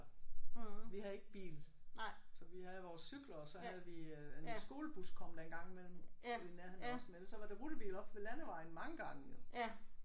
Vi havde ikke bil. Så vi havde vores cykler og så havde vi øh en skolebus kom der en gang imellem ude i nærheden af os men ellers så var der rutebil oppe ved landevejen mange gange jo